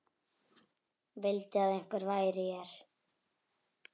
Vildi að einhver væri hér.